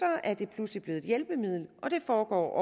er det pludselig blevet et hjælpemiddel og det foregår